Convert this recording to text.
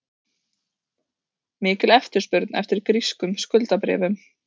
Mikil eftirspurn eftir grískum skuldabréfum